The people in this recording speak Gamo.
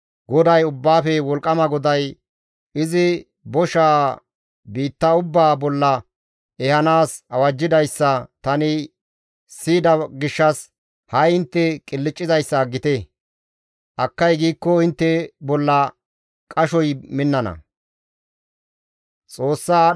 GODAY, Ubbaafe Wolqqama GODAY izi boshaa biitta ubbaa bolla ehanaas awajjidayssa tani siyida gishshas ha7i intte qilccizayssa aggite; akkay giikko intte bolla qashoy minnana.